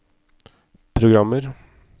programmer